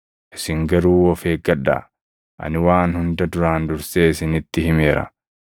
Isin garuu of eeggadhaa! Ani waan hunda duraan dursee isinitti himeera.